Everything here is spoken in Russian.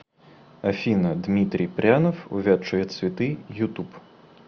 афина дмитрий прянов увядшие цветы ютуб